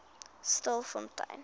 stilfontein